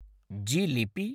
jalebi